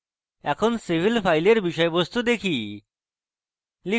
এখন civil file বিষয়বস্তু দেখি